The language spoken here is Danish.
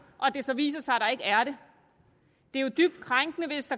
og det så viser sig at der ikke er det det er jo dybt krænkende hvis